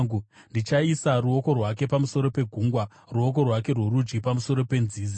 Ndichaisa ruoko rwake pamusoro pegungwa, ruoko rwake rworudyi pamusoro penzizi.